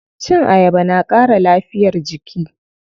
Cin ayaba na ƙara lafiyar jiki.